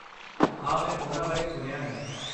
ਹਾਂ, ਮੈਂ ਉਨ੍ਹਾਂ ਬਾਰੇ ਸੁਣਿਆ ਹੈ।